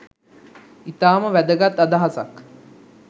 ඉතාම වැදගත් අදහසක්